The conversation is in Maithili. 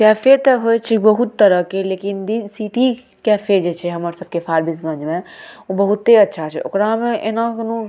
कैफ़े ते होय छै बहुत तरह के लेकिन सिटी कैफ़े जे छै ना हमर सब के फार्मिशगंज में बहुते अच्छा छै ओकरा में ऐना कुनू